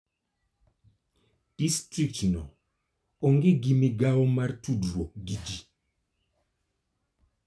Distriktno onge gi migawo mar tudruok gi ji.